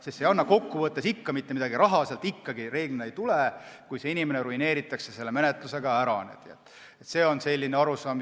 See ei anna kokkuvõttes mitte midagi, raha sealt ikkagi reeglina ei tule, kui inimene selle menetlusega ära ruineeritakse.